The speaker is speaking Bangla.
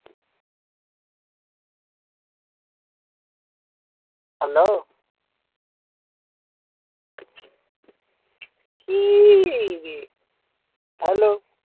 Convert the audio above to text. Hello? কি রে hello?